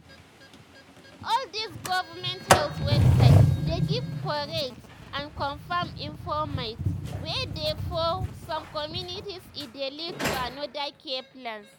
all dis govment health website dey give korrect and confam informate wey dey for some communities e dey lead to another care plans.